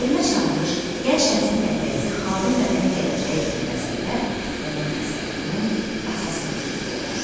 Elmə çağırış, gənc nəslin tərbiyəsi, xalqın vətənin gələcəyi kimi məsələlər onun əsərlərinin əsas mövzusu olmuşdu.